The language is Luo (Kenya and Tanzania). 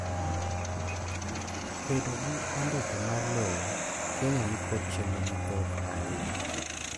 bedo gi andika mar lowo Kenya nikod chenro mathoth ainya